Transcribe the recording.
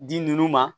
Di nunnu ma